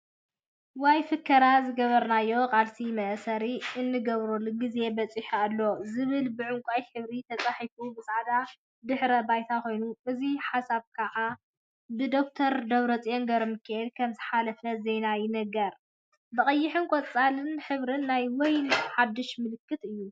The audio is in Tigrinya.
ወይ ፍከራ “ዝገበርናዮ ቃልሲ መእሰሪ እንገብረሉ ግዜ በፂሑ አሎ፡፡” ዝብል ብዕንቋይ ሕብሪ ተፃሒፉ ብፃዕዳ ድሕረ ባይታ ኮይኑ፤ እዚ ሓሳብ ከዓ ብደ/ር ደብረፅዮን ገብረሚካኤል ከም ዝሓለፈ ዜና ይነግረና፡፡ ብቀይሕን ቆፃል ሕብሪ ናይ ወይን ሓዱሽ ምልክት እዩ፡፡